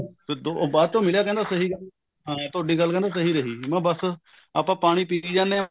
ਤਾਂ ਉਹ ਬਾਅਦ ਚੋ ਮਿਲਿਆ ਕਹਿੰਦਾ ਸਹੀ ਗੱਲ ਹੈ ਹਾਂ ਕਹਿੰਦਾ ਤੁਹਾਡੀ ਗੱਲ ਸਹੀ ਰਹੀ ਮੈਂ ਬਸ ਆਪਾਂ ਪਾਣੀ ਪੀ ਜਾਂਦੇ ਹਾਂ